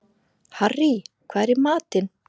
Harrý, hvað er í matinn?